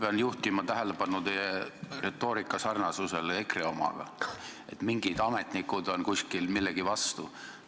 Ma pean juhtima tähelepanu teie retoorika sarnasusele EKRE omaga, et mingid ametnikud on kuskil millegi vastu.